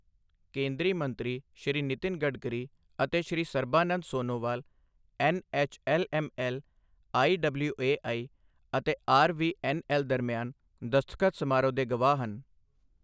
ਕੇਂਦਰੀ ਮੰਤਰੀ ਸ਼੍ਰੀ ਨਿਤਿਨ ਗਡਕਰੀ ਅਤੇ ਸ਼੍ਰੀ ਸਰਬਾਨੰਦ ਸੋਨੋਵਾਲ ਐੱਨਐੱਚਐੱਲਐੱਮਐੱਲ, ਆਈਡਬਲਿਊਏਆਈ ਅਤੇ ਆਰਵੀਐੱਨਐੱਲ ਦਰਮਿਆਨ ਦਸਤਖਤ ਸਮਾਰੋਹ ਦੇ ਗਵਾਹ ਹਨ